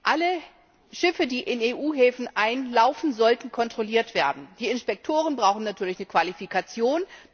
Alle Schiffe, die in EU Häfen einlaufen, sollten kontrolliert werden. Die Inspektoren brauchen natürlich eine Qualifikation.